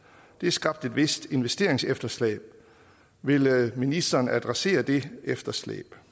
det har skabt et vist investeringsefterslæb vil ministeren adressere det efterslæb